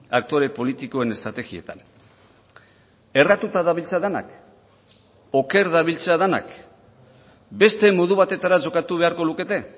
aktore politikoen estrategietan erratuta dabiltza denak oker dabiltza denak beste modu batera jokatu beharko lukete